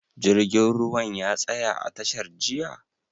Jirgin ruwan ya tsaya a tashar jiya?